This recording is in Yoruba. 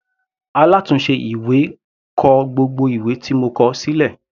Alátùnse ìwé kọ gbogbo ìwé tí mo kọ sílẹ̀.